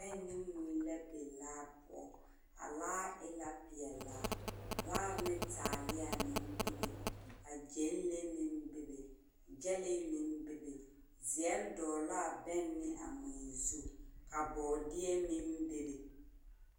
Bԑŋ ne mui la biŋ laa poͻ, a laa e la peԑlaa. Vaare ne taaleԑ meŋ bebe ka gyԑnlee meŋ bebe gyԑlee meŋ bebe, zeԑre dogele la la a bԑŋ ne a mui zu ka bͻͻdeԑ meŋ bebe.